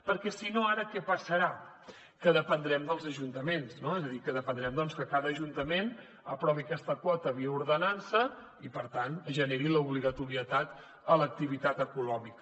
perquè si no ara què passarà que dependrem dels ajuntaments és a dir que dependrem que cada ajuntament aprovi aquesta quota via ordenança i per tant generi l’obligatorietat a l’activitat econòmica